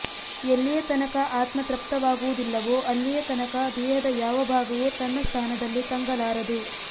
ಎಲ್ಲಿಯ ತನಕ ಆತ್ಮ ತೃಪ್ತವಾಗುವುದಿಲ್ಲವೋ ಅಲ್ಲಿಯ ತನಕ ದೇಹದ ಯಾವ ಭಾಗವೂ ತನ್ನ ಸ್ಥಾನದಲ್ಲಿ ತಂಗಲಾರದು